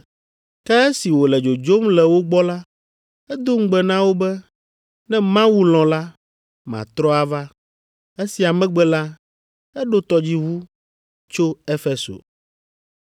Ke esi wòle dzodzom le wo gbɔ la, edo ŋugbe na wo be, “Ne Mawu lɔ̃ la, matrɔ ava.” Esia megbe la, eɖo tɔdziʋu tso Efeso.